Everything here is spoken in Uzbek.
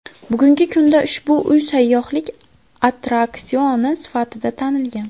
Bugungi kunda ushbu uy sayyohlik attraksioni sifatida tanilgan.